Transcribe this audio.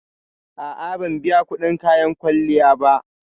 A'a, ban biya kudin kayan kwalliya ba